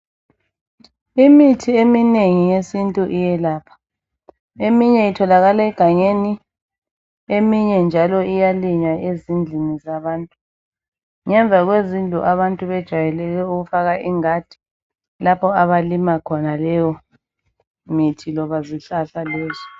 Imithi eminengi yesintu iyelapha. Eminye itholakala egangeni, eminye njalo iyalinywa ezindlini zabantu. Ngemva kwezindlu abantu bajayele ukufaka ingadi lapho abalima khona leyo mithi loba zihlahla lezo.